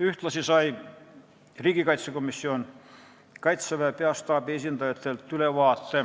Ühtlasi sai riigikaitsekomisjon Kaitseväe peastaabi esindajatelt ülevaate